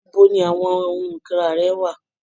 Ibo ni àwọn ohun ìkunra rẹ wà?